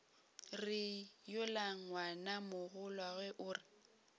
re yola ngwanamogolwago o re